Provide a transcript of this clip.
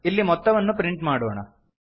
ಇಲ್ಲಿ ಮೊತ್ತವನ್ನು ಪ್ರಿಂಟ್ ಮಾಡೋಣ